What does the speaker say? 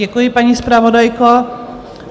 Děkuji, paní zpravodajko.